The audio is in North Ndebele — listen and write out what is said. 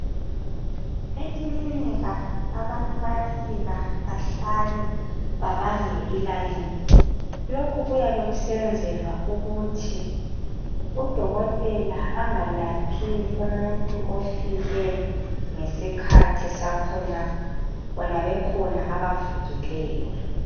Ekilinika abantu bayafika bahlale bebambe ilayini lokhu kuyabe kusenzelwa ukuthi udokotela engalaphi umuntu ofike ngesakhe isikhathi bona bekhona abavukeleyo